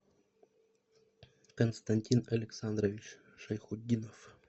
константин александрович шайхутдинов